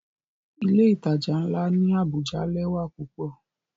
Ile-itaja nla ni Abuja lẹwa pupọ.